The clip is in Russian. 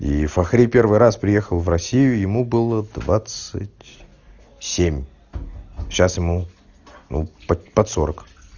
и фахри первый раз приехал в россию ему было двадцать семь сейчас ему ну под под сорок